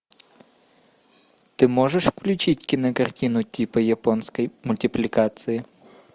ты можешь включить кинокартину типа японской мультипликации